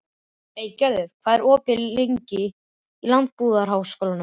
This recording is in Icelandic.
Eygerður, hvað er lengi opið í Landbúnaðarháskólanum?